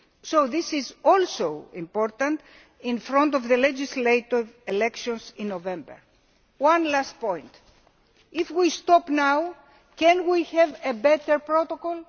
So this is also important prior to the legislative elections in November. One last point if we stop now can we have a better protocol?